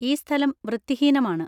ഈ സ്ഥലം വൃത്തിഹീനമാണ്.